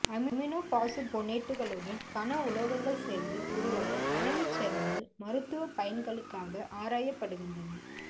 அமினோபாசுபோனேட்டுகளுடன் கன உலோகங்கள் சேர்ந்து உருவாகும் அணைவுச் சேர்மங்கள் மருத்துவப் பயன்களுக்காக ஆராயப்படுகின்றன